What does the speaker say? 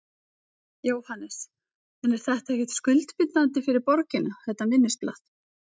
Jóhannes: En er þetta ekkert skuldbindandi fyrir borgina, þetta minnisblað?